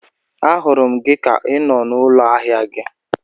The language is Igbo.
A hụrụ gị ka I nọ n'ụlọ ahịa gị